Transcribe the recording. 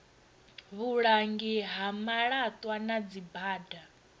vhulangi ha malatwa na dzibada